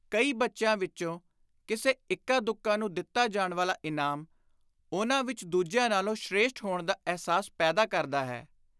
ਕਈ ਬੱਚਿਆਂ ਵਿਚੋਂ ਕਿਸੇ ਇੱਕਾ ਦੁੱਕਾ ਨੂੰ ਦਿੱਤਾ ਜਾਣ ਵਾਲਾ ਇਨਾਮ ਉਨ੍ਹਾਂ ਵਿਚ ਦੂਜਿਆਂ ਨਾਲੋਂ ਸ੍ਰੇਸ਼ਟ ਹੋਣ ਦਾ ਅਹਿਸਾਸ ਪੈਦਾ ਕਰਦਾ ਹੈ।